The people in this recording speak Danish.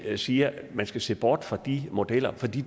siger at man skal se bort fra de modeller fordi